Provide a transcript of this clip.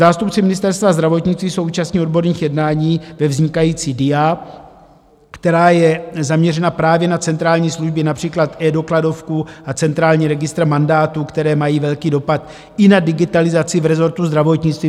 Zástupci Ministerstva zdravotnictví jsou účastni odborných jednání ve vznikající DIA, která je zaměřena právě na centrální služby, například eDokladovku a centrální registr mandátů, které mají velký dopad i na digitalizaci v rezortu zdravotnictví.